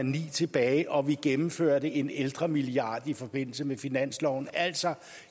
tilbage og vi gennemførte en ældremilliard i forbindelse med finansloven altså